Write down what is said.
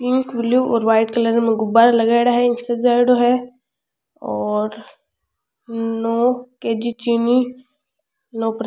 Pink blue और white colour में गुब्बार लगायेडा है इन सजायेडॉ है और नो के.जी. चीनी नो --